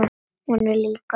Hún er líka sönn.